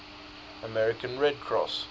american red cross